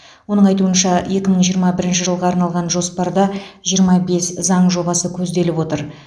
оның айтуынша екі мың жиырма бірінші жылға арналған жоспарда жиырма бес заң жобасы көзделіп отыр